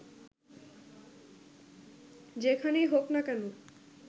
যেখানেই হোক না কেন